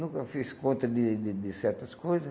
Nunca fiz conta de de de certas coisas.